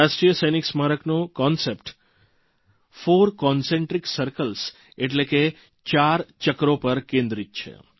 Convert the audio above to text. રાષ્ટ્રીય સૈનિક સ્મારકનો કન્સેપ્ટવિભાવનાપરિકલ્પના કોન્સેપ્ટ ફોર કન્સેન્ટ્રિક સર્કલ્સ એટલે કે ચાર ચક્રો પર કેન્દ્રિત છે